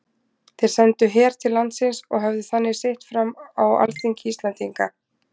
Þeir sendu her til landsins og höfðu þannig sitt fram á alþingi Íslendinga.